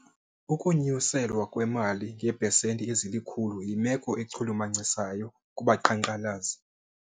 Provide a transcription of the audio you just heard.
Ukunyuselwa imali ngeepesenti ezilikhulu yimelo echulumachisayo kubaqhankqalazi.